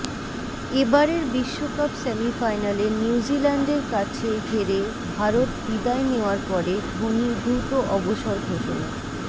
এ বারের বিশ্বকাপ সেমিফাইনালে নিউজ়িল্যান্ডের কাছে হেরে ভারত বিদায় নেওয়ার পরে ধোনি দ্রুত অবসর ঘোষণা